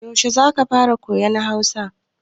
Yaushe za ka fara koyan Hausa?